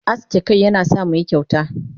Aske kanmu yana sa muyi kyauta.